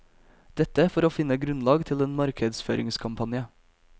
Dette for å finne grunnlag til en markedsføringskampanje.